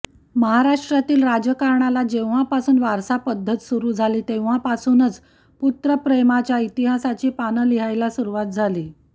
महाराष्ट्रातील राजकारणाला जेव्हापासून वारसा पद्धत सुरु झाली तेव्हापासूनच पुत्रप्रेमाच्या इतिहासाची पानं लिहायला सुरुवात झाली